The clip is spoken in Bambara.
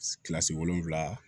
Kilasi wolonwula